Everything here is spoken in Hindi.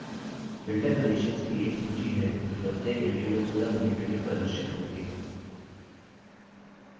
filter conditions की एक सूची है जो प्रत्येक entry को पूरा करने के लिए प्रदर्शित होती है